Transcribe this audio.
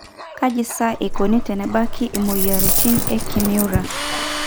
kaji sa eikoni tenebaki imuoyiaritin e Kimura?